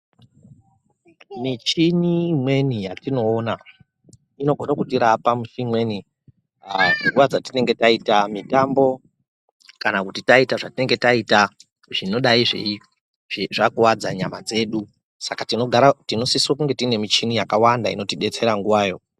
Michini imweni yatinoona inogona kutirapa nguva dzimweni dzatinenge taita mitambo kana taita zvataita zvinodai zvakuvadza nyama dzedu saka tinosise kuti tiine michini yakawanda inotibetsera nguvayo .